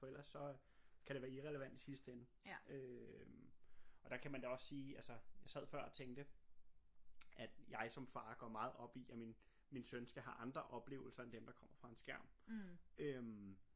For ellers så øh kan det være irrelevant i sidste ende øh og der kan man da også sige altså jeg sad før og tænkte at jeg som far går meget op i at min min søn skal have andre oplevelser end dem der kommer fra en skærm øh